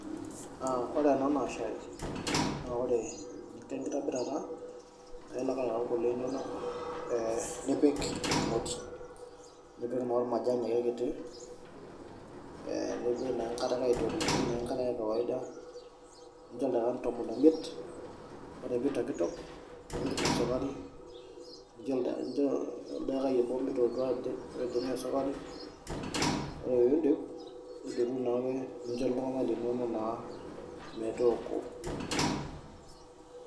Ore ena naa shai, ore eninko enkitobirata, naa ilo ake ayau kule inonok, nipik emoti, nipik naa ormajani ake kiti nepik naa enkare ake aitoritie enkare ee kawaida nincho ildekani tomon omiet, ore pitokitok nipik naa esukari nincho oldekai obo mitotua pejing' aa esukari, ore pidip nidotu naake nincho iltung'ana linono naa metoko.